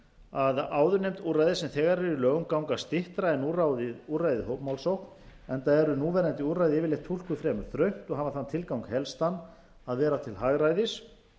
að áðurnefnd úrræði sem þegar eru í lögum ganga styttra en úrræðið hópmálsókn enda eru núverandi úrræði yfirleitt túlkuð fremur þröngt og hafa þann tilgang helstan að vera til hagræðis